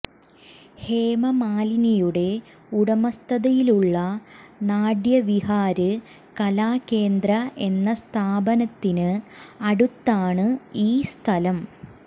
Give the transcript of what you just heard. ഹേമമാലിനിയുടെ ഉടമസ്ഥതയിലുള്ള നാട്യവിഹാര് കലാ കേന്ദ്ര എന്ന സ്ഥാപനത്തിന് അടുത്താണ് ഈ സ്ഥലം